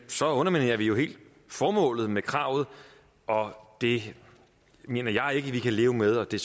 så underminerer vi jo helt formålet med kravet og det mener jeg ikke vi kan leve med og det